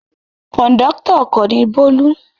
Kọ̀ńdọ́tọ̀ ọkọ̀ ni Bólú.